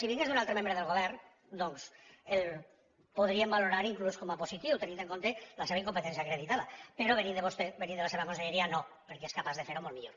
si vingués d’un altre membre del govern doncs podríem valorar inclús com a positiu tenint en compte la seva incompetència acreditada però venint de vostè venint de la seva conselleria no perquè és capaç de fer ho molt millor